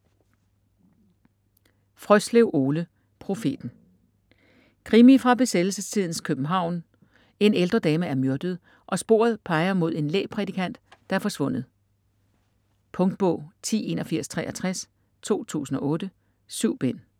Frøslev, Ole: Profeten Krimi fra besættelsestidens København, en ældre dame er myrdet og sporet peger mod en lægprædikant, der er forsvundet. Punktbog 108163 2008. 7 bind.